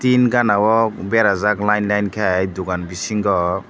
bini gana o berajak line line ke dogan bisingo.